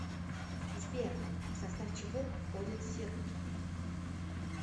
сбер в состав чего входит сербки